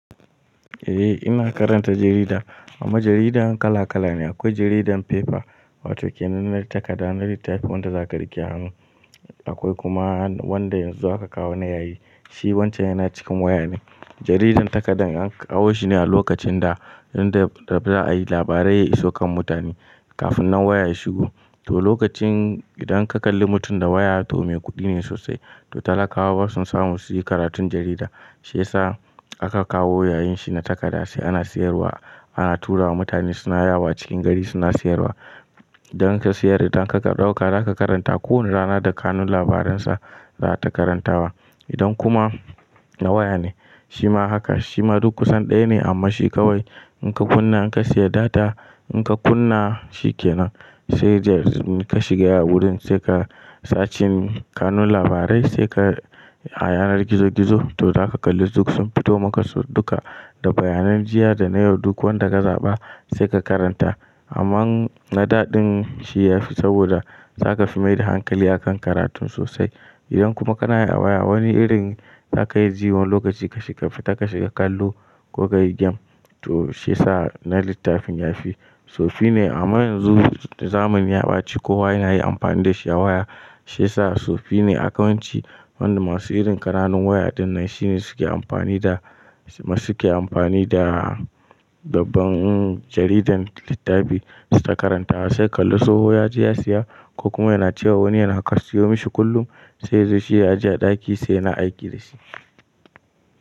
Eh ina karanta jarida, amma jaridan kala kala ne. Akwai jaridan paper wato kenan na takarda, na littafi wanda za ka rike a hannu. Akwai kuma wanda yanzu aka kawo na yayi, shi wancan yana cikin waya ne. Jaridan takardar an kawo shi ne a lokacin da inda za a yi labarai ya iso kan mutane kafin nan waya ya shigo. To lokacin idan ka kalli mutum da waya to mai kuɗi ne sosai, to talaka wasun samu su yi karatun jarida, shiyasa aka kawo yayin shi na takarda sai ana siyarwa, ana tura wa mutane suna yawo cikin gari suna siyarwa. Idan ka sayar idan ka ɗauka za ka karanta kowane rana da kanun labaran sa za ta karantawa. Idan kuma na waya ne shi ma haka shi ma duk kusan ɗaya ne amma shi kawai in ka kunna in ka sayar data in ka kunna shi kenan sai dai ka shiga wurin sai ka sacin kanun labarai sai ka a yanar gizo gizo to zaka kalli duk sun fito maka duka da bayanan jiya da na yau duk wanda ka zaɓa sai ka karanta. Amma na daɗin shi ya fi saboda za ka fi maida hankali a kan karatun sosai. Idan kuma kanayi a waya wani irin za ka yi jiyo lokaci ka shiga fita ka shiga kallo ko ka yi game to sai sa na littafin ya fi. So shine amma yanzu da zamani ya baci kowa yana yi amfani da shi a waya sai sa so shine a kawance wanda masu irin ƙananun waya dinnan shine suke amfani da masu suke amfani da dabban jaridan littafi su ta karantawa sai kalli tsoho ya je ya siya ko kuma yana cewa wani yana kar siyo mashi kullum sai zai zo shi ya ajiye a ɗaki sai yana aiki da shi.